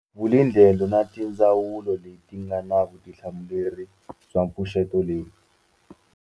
Vulindlela na tindzawulo leti nga na vutihlamuleri bya mipfuxeto leyi.